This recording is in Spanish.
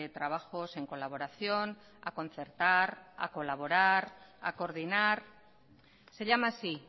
trabajos en colaboración a concertar a colaborar a coordinar se llama así